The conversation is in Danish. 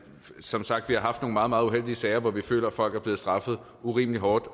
som sagt har haft nogle meget meget uheldige sager hvor vi har følt at folk er blevet straffet urimelig hårdt